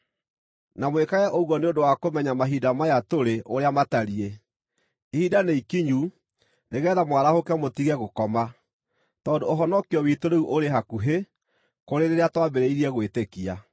Na mwĩkage ũguo nĩ ũndũ wa kũmenya mahinda maya tũrĩ ũrĩa matariĩ. Ihinda nĩikinyu nĩgeetha mwarahũke mũtige gũkoma, tondũ ũhonokio witũ rĩu ũrĩ hakuhĩ kũrĩ rĩrĩa twambĩrĩirie gwĩtĩkia.